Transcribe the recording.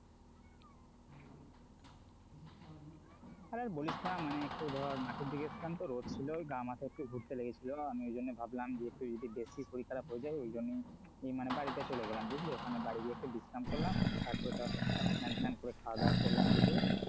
আরে আর বলিস না মানে একটু ধর মাঠের দিকে এসছিলাম তো রোদ ছিল গা মাথা একটু ঘুরতে লেগেছিল আমি ওই জন্যই ভাবলাম যে একটু যদি বেশি শরীর খারাপ হয়ে যায় ওই জন্যই ই মানে বাড়িতে চলে গেলাম বুঝলি, ওখানে বাড়ি গিয়ে একটু বিশ্রাম করলাম তারপর ধর স্নান টান করে খাওয়া দাওয়া করলাম দুপুরে,